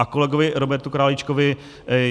A kolegovi Robertu Králíčkovi.